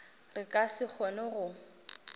re ka se kgone go